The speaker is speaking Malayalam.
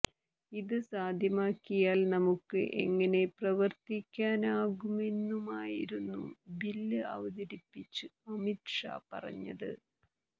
ഇത് സാധ്യമാക്കിയാൽ നമുക്ക് എങ്ങനെ പ്രവർത്തിക്കാനാകുമെന്നുമായിരുന്നു ബില്ല് അവതരിപ്പിച്ച് അമിത് ഷാ പറഞ്ഞത്